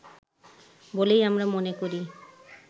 বলেই আমরা মনে করি